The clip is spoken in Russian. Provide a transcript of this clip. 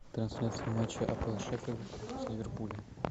трансляция матча апл шеффилд с ливерпулем